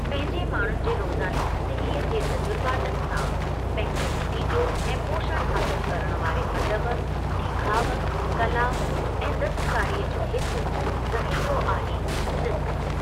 पंहिंजे माण्हूनि जे रोज़ानी ज़िंदगीअ जे तजुरबातनि सां पंहिंजो नतीजो ऐं पोषणु हासिलु करणु वारे अदबु, डे॒खाउ कला ऐं दस्तकारीअ जो हिकु ज़ख़ीरो आहे छत्तीसगढ़।